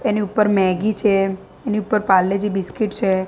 એની ઉપર મેગી છે એની ઉપર પાર્લે જી બિસ્કીટ છે.